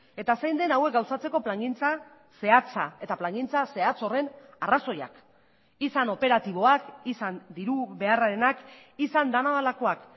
eta zein den hauek gauzatzeko plangintza zehatza eta plangintza zehatz horren arrazoiak izan operatiboak izan diru beharrarenak izan dena delakoak